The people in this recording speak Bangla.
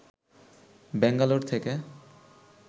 ব্যাঙ্গালোর থেকে